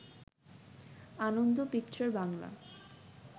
Ananda picture Bangla